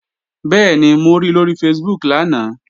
Bẹ́ẹ̀ni, mo ri lóri Facebook lánàá